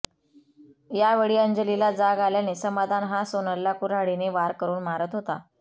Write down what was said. यावेळी अंजलीला जाग आल्याने समाधान हा सोनलला कुऱ्हाडीने वार करून मारत होता